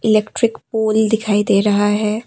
Electric pole दिखाई दे रहा है।